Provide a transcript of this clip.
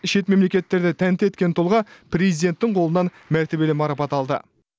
шет мемлекеттерді тәнті еткен тұлға президенттің қолынан мәртебелі марапат алды